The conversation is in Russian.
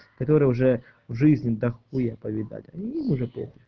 который уже в жизни дохуя повидали им уже по хуй